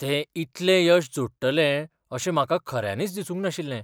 ते इतलें यश जोडटले अशें म्हाका खऱ्यांनीच दिसूंक नाशिल्लें.